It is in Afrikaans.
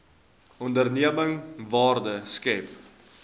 onderneming waarde skep